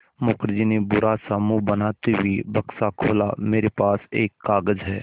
मुखर्जी ने बुरा सा मुँह बनाते हुए बक्सा खोला मेरे पास एक कागज़ है